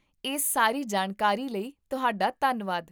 ਇਸ ਸਾਰੀ ਜਾਣਕਾਰੀ ਲਈ ਤੁਹਾਡਾ ਧੰਨਵਾਦ